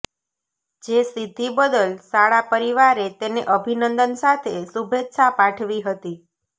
જે સિદ્ધિ બદલ શાળા પરિવારે તેને અભિનંદન સાથે શુભેચ્છા પાઠવી હતી